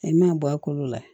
I man'a bɔ a kolo la